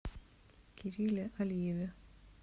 кирилле алиеве